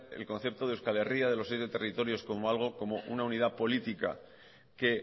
el concepto de euskal herria de los siete territorios algo como una unidad política que